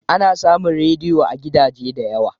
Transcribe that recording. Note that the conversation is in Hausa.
Ana samun rediyo a gidaje da yawa.